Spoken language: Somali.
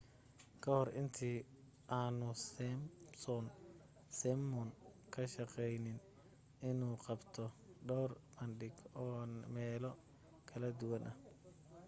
kahor intii aanu simpson simon ka shaqaynin inuu qabto dhawr bandhig oo meelo kala duwan ah